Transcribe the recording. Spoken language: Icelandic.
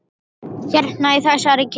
Hérna, í þessari kirkju?